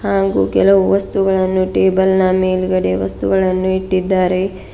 ಹಂಗು ಕೆಲವು ವಸ್ತುಗಳನ್ನು ಟೇಬಲ್ ನ ಮೇಲ್ಗಡೆ ವಸ್ತುಗಳನ್ನು ಇಟ್ಟಿದ್ದಾರೆ.